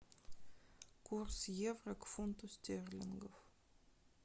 курс евро к фунту стерлингов